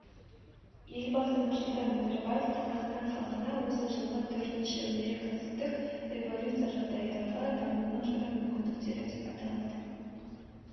елбасы нұрсұлтан назарбаев қазақстан халқына осы жылғы төртінші өнеркәсіптік революция жағдайындағы дамудың жаңа мүмкіндіктері деп аталатын